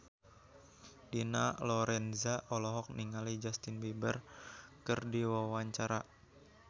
Dina Lorenza olohok ningali Justin Beiber keur diwawancara